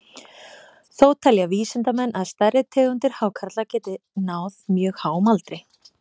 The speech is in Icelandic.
Þó telja vísindamenn að stærri tegundir hákarla geti náð mjög háum aldri.